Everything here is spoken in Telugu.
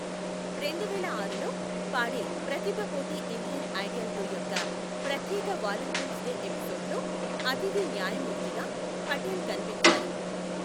రెండువేల ఆరులో, పాడే ప్రతిభ పోటీ ఇండియన్ ఐడల్ టు యొక్క ప్రత్యేక వాలెంటైన్స్ డే ఎపిసోడ్లో అతిథి న్యాయమూర్తిగా పటేల్ కనిపించారు.